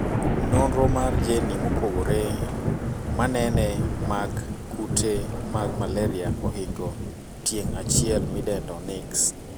Nonro mar jeni mopogore manene mag kute mag malaria ohingo tieng' achiel midendo nix